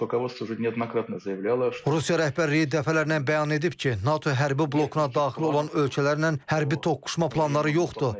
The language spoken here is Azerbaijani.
Rusiya rəhbərliyi dəfələrlə bəyan edib ki, NATO hərbi blokuna daxil olan ölkələrlə hərbi toqquşma planları yoxdur.